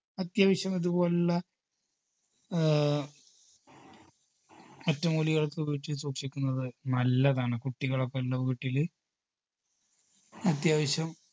അത്യാവശ്യം ഇതുപോലുള്ള ആഹ് ഒറ്റമൂലികളൊക്കെ വീട്ടിൽ സൂക്ഷിക്കുന്നത് നല്ലതാണ് കുട്ടികളൊക്കെ ഉള്ള വീട്ടില് അത്യാവശ്യം